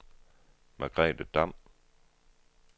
Margrethe Damm